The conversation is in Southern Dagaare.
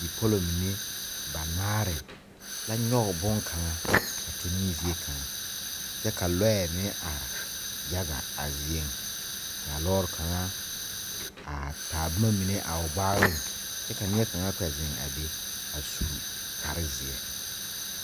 Bipɔlo mene banaare la nyuge bunkanga tuning zeɛ kanga kye ka lɔɛ meng arẽ yaga a zeɛ kaa loɔri kanga a taa buma mene a ɔ gbaalin kye ka neɛ kanga kpɛ zeng be a su kpare zie.